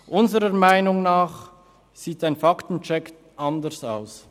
Unserer Meinung nach sieht ein Fakten-Check anders aus.